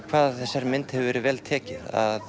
hvað þessari mynd hefur verið vel tekið